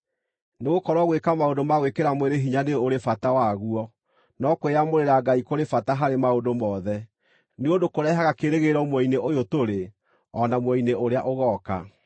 Nĩgũkorwo gwĩka maũndũ ma gwĩkĩra mwĩrĩ hinya nĩ ũrĩ bata waguo, no kwĩyamũrĩra Ngai kũrĩ bata harĩ maũndũ mothe, nĩ ũndũ kũrehaga kĩĩrĩgĩrĩro muoyo-inĩ ũyũ tũrĩ o na muoyo-inĩ ũrĩa ũgooka.